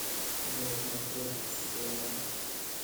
бэтмен против супермена